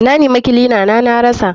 Na nema kilina na na rasa.